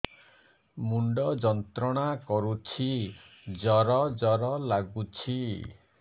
ମୁଣ୍ଡ ଯନ୍ତ୍ରଣା କରୁଛି ଜର ଜର ଲାଗୁଛି